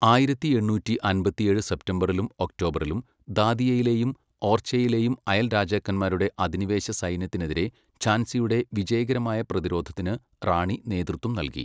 ആയിരത്തി എണ്ണൂറ്റി അമ്പത്തിയേഴ് സെപ്റ്റംബറിലും ഒക്ടോബറിലും, ദാതിയയിലെയും ഓർച്ചയിലെയും അയൽരാജാക്കന്മാരുടെ അധിനിവേശ സൈന്യത്തിനെതിരെ ഝാൻസിയുടെ, വിജയകരമായ പ്രതിരോധത്തിന് റാണി നേതൃത്വം നൽകി.